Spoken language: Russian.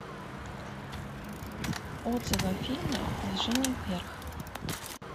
отзывы о фильме движение вверх